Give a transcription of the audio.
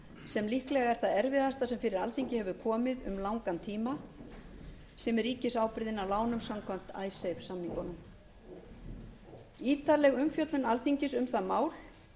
sem líklega er það erfiðasta sem fyrir alþingi hefur komið um langan tíma sem er ríkisábyrgðin á lánum samkvæmt icesave samning auk ítarleg umfjöllun alþingis um það mál